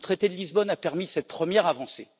Le traité de Lisbonne a permis cette première avancée.